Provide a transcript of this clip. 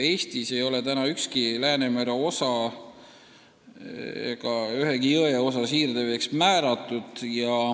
Eestis ei ole ükski Läänemere osa ega ühegi jõe osa siirdeveeks kuulutatud.